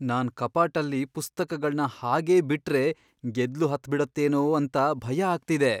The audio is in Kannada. ನಾನ್ ಕಪಾಟಲ್ಲಿ ಪುಸ್ತಕಗಳ್ನ ಹಾಗೇ ಬಿಟ್ರೆ ಗೆದ್ಲು ಹತ್ಬಿಡತ್ತೇನೋ ಅಂತ ಭಯ ಆಗ್ತಿದೆ.